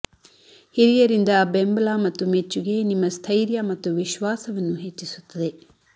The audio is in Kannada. ಹಿರಿಯರಿಂದ ಬೆಂಬಲ ಮತ್ತು ಮೆಚ್ಚುಗೆ ನಿಮ್ಮ ಸ್ಥೈರ್ಯ ಮತ್ತು ವಿಶ್ವಾಸವನ್ನು ಹೆಚ್ಚಿಸುತ್ತದೆ